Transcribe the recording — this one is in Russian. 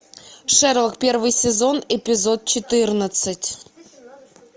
шерлок первый сезон эпизод четырнадцать